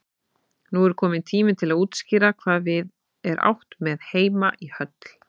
Nú er kominn tími til að útskýra hvað við er átt með heima í höll.